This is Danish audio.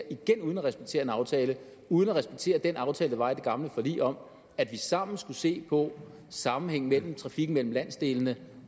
igen uden at respektere en aftale uden at respektere den aftale der var i det gamle forlig om at vi sammen skulle se på sammenhængen mellem trafikken mellem landsdelene